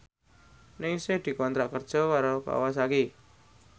Ningsih dikontrak kerja karo Kawasaki